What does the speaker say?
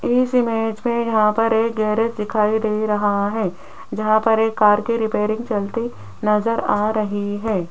इस इमेज पर यहां पर एक गैरेज दिखाई दे रहा है जहां पर एक कार की रिपेयरिंग चलती नजर आ रही है।